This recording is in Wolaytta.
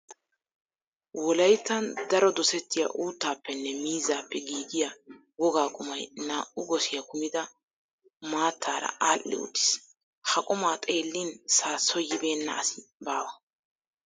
Wolayttan daro dosettiya uuttaappenne miizzaappe giigiya wogaa qumay naa"u gosiya kumida maattaara aadhdhi uttiis. Ha qumaa xeellin saassoy yibeenna asi baawa.